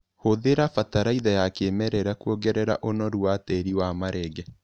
Hũthĩra bataraitha ya kĩmerera kuongerera ũnoru wa tĩri wa marenge.